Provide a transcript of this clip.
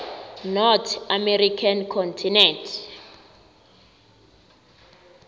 north american continent